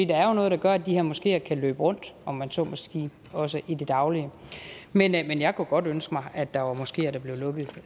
der er jo noget der gør at de her moskeer kan løbe rundt om man så må sige også i det daglige men jeg kunne godt ønske mig at der var moskeer der blev lukket